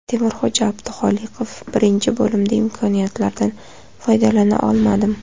Temurxo‘ja Abduxoliqov: Birinchi bo‘limda imkoniyatlardan foydalana olmadim.